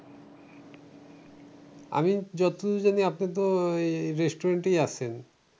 আমি যতদূর জানি আপনি তো এই restaurant এই আসেন।